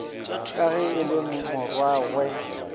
ka ge e le morwarragwe